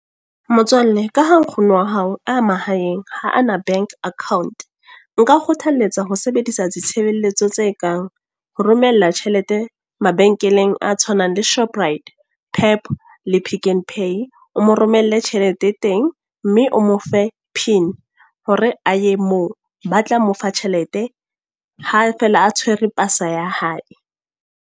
Motswalle ka ha nkgono wa hao, a mahaeng ha ana bank account. Nka O kgothaletsa ho sebedisa ditshebeletso tse kang, ho romella tjhelete mabenkeleng a tshwanang le Shoprite, Pep, le Pick n Pay. O mo romelle tjhelete e teng. Mme o mo fe pin, hore a ye moo. Ba tla mo fa tjhelete, ha fela a tshwere pasa ya hae.